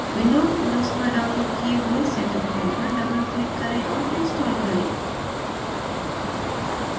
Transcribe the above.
windows os पर downloaded किए हुए setup file पर doubleclick करें और install करें